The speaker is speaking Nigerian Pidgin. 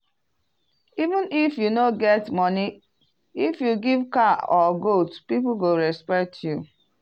even if you no get money if you give cow or goat people go respect you.